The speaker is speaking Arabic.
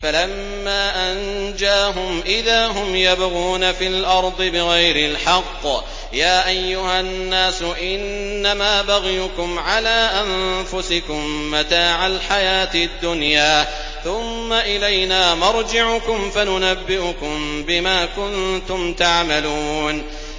فَلَمَّا أَنجَاهُمْ إِذَا هُمْ يَبْغُونَ فِي الْأَرْضِ بِغَيْرِ الْحَقِّ ۗ يَا أَيُّهَا النَّاسُ إِنَّمَا بَغْيُكُمْ عَلَىٰ أَنفُسِكُم ۖ مَّتَاعَ الْحَيَاةِ الدُّنْيَا ۖ ثُمَّ إِلَيْنَا مَرْجِعُكُمْ فَنُنَبِّئُكُم بِمَا كُنتُمْ تَعْمَلُونَ